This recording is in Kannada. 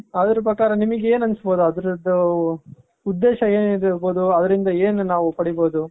ಅದ್ರು ಪ್ರಕಾರ ನಿಮಿಗೆ ಏನ್ ಅನ್ಸಬಹುದು. ಅದ್ರದು ಉದ್ದೇಶ ಏನಿರಬಹುದು. ಅದರಿಂದ ಏನ್ ನಾವು ಪಡಿಬಹುದು.